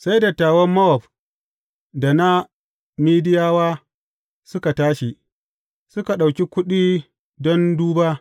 Sai dattawan Mowab da na Midiyawa suka tashi, suka ɗauki kuɗi don duba.